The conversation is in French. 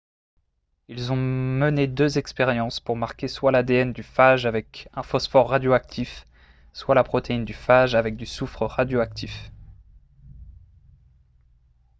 ils ont mené deux expériences pour marquer soit l'adn du phage avec un phosphore radioactif soit la protéine du phage avec du soufre radioactif